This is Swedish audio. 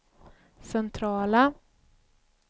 centrala